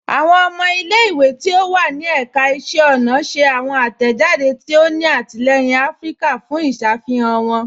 Awọn ọmọ ilẹ̀-ìwé tí ó wà ní èkà ìṣẹ̀ ọna ṣẹ̀ awọn atẹ́jàdé tí ó ní àtìlẹyìn Afíríkà fún ìṣàfihàn wọn